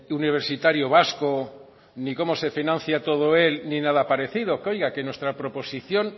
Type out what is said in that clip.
universitario vasco ni cómo se financia todo él ni nada parecido oiga que nuestra proposición